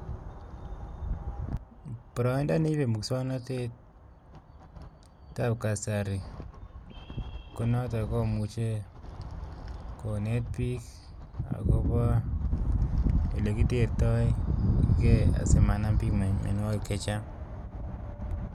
Boroindo neibe muswoknotet ab kasari ko notok komuche konet biik akobo olekitertoigei asimanam biik mienwogik chechang.